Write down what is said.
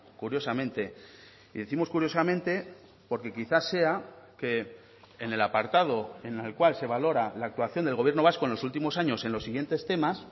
curiosamente y décimos curiosamente porque quizá sea que en el apartado en el cual se valora la actuación del gobierno vasco en los últimos años en los siguientes temas